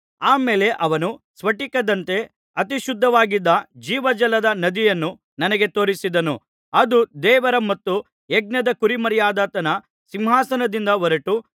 ಆ ಮೇಲೆ ಅವನು ಸ್ಫಟಿಕದಂತೆ ಅತಿಶುದ್ಧವಾಗಿದ್ದ ಜೀವಜಲದ ನದಿಯನ್ನು ನನಗೆ ತೋರಿಸಿದನು ಅದು ದೇವರ ಮತ್ತು ಯಜ್ಞದ ಕುರಿಮರಿಯಾದಾತನ ಸಿಂಹಾಸನದಿಂದ ಹೊರಟು